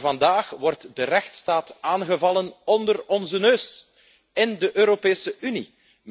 Maar vandaag wordt de rechtsstaat aangevallen onder onze neus, in de Europese Unie.